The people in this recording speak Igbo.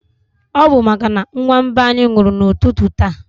Ọ bu màkà na nwa mba anyị nwụrụ na ụtụtụ taa